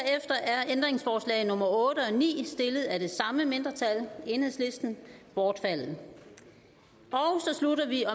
ændringsforslag nummer otte og ni stillet af det samme mindretal bortfaldet så slutter vi